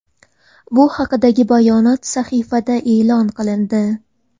Bu haqdagi bayonot sahifada e’lon qilindi .